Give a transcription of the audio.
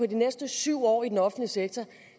de næste syv år i den offentlige sektor